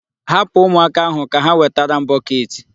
Hapụ ụmụaka ahụ ka ha wetara m bọket.